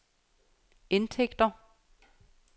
indtægter